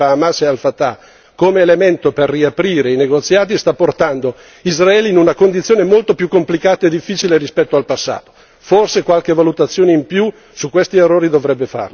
Il fatto di aver rifiutato questa possibilità di avvicinamento tra Hamas e Al Fatah come elemento per riaprire i negoziati sta portando Israele in una condizione molto più complicata e difficile rispetto al passato.